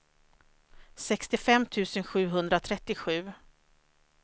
sextiofem tusen sjuhundratrettiosju